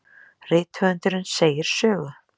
Rithöfundur segir sögu.